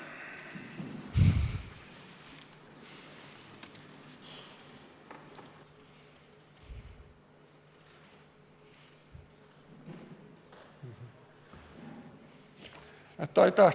Aitäh!